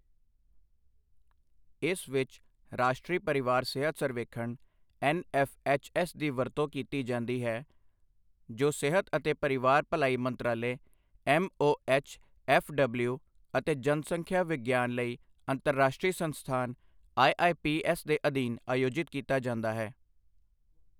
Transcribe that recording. ਇਸ ਵਿੱਚ ਰਾਸ਼ਟਰੀ ਪਰਿਵਾਰ ਸਿਹਤ ਸਰਵੇਖਣ ਐੱਨਐੱਫਐੱਚਐੱਸ ਦੀ ਵਰਤੋਂ ਕੀਤੀ ਜਾਂਦੀ ਹੈ ਜੋ ਸਿਹਤ ਅਤੇ ਪਰਿਵਾਰ ਭਲਾਈ ਮੰਤਰਾਲੇ ਐੱਮਓਐੱਚਐੱਫਡਬਲਿਊ ਅਤੇ ਜਨਸੰਖਿਆ ਵਿਗਿਆਨ ਲਈ ਅੰਤਰਰਾਸ਼ਟਰੀ ਸੰਸਥਾਨ ਆਈਆਈਪੀਐੱਸ ਦੇ ਅਧੀਨ ਆਯੋਜਿਤ ਕੀਤਾ ਜਾਂਦਾ ਹੈ।